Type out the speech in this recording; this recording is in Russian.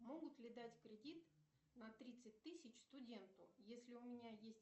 могут ли дать кредит на тридцать тысяч студенту если у меня есть